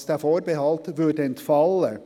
Das heisst, dieser Vorbehalt würde entfallen.